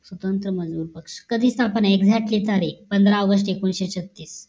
स्वतंत्र मजूर पक्ष कधीच आपण एकढ्यातलं तारे पंधरा आगोस्त एकशे एकोणीस तारिक